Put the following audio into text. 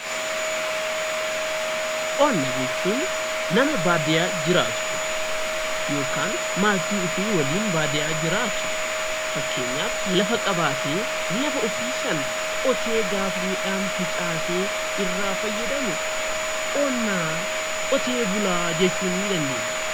Qonna jechuun nama baadiyaa jiraatu yookaan maatii ofii waliin baadiyaa jiraatu. Fakkeenyaaf lafa qabaatee lafa ofii sana qotee gaafa midhaan facaasee irraa fayyadamu qonnaa qotee bulaa jechuu ni dandeenya.